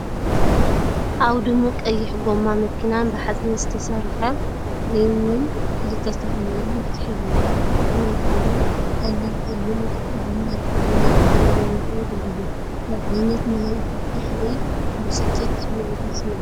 ኣብ ድሙቕ ቀይሕ ጎማ መኪናን ብሓጺን ዝተሰርሐ ሪምን ክልተ ዝተፈላለያ መፍትሕ ይረኣያ። ኣብ ታሕቲ ናይቲ ጎማ ቀሊል ጸሊም መፍትሕ ጎማ ይርከብ። ንለውጢ ጎማ ንምምችቻው ይሕግዙ። እንታይ ዓይነት ናይ ፍታሕ ወይ ብስጭት ስምዒት እዩ ዝስምዓካ?